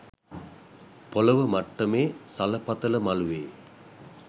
පොළොව මට්ටමේ සලපතල මළුවේ